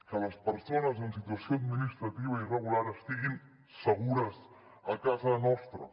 que les persones en situació administrativa irregular estiguin segures a casa nostra